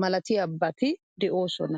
malatiyaabati de'oosona.